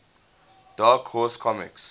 dark horse comics